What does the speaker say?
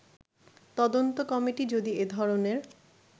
তদন্ত কমিটি যদি এ ধরনের